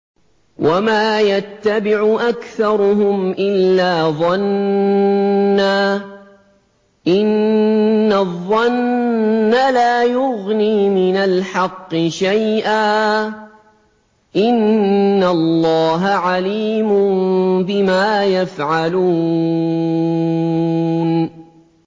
وَمَا يَتَّبِعُ أَكْثَرُهُمْ إِلَّا ظَنًّا ۚ إِنَّ الظَّنَّ لَا يُغْنِي مِنَ الْحَقِّ شَيْئًا ۚ إِنَّ اللَّهَ عَلِيمٌ بِمَا يَفْعَلُونَ